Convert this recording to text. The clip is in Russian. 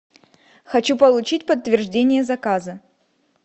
хочу получить подтверждение заказа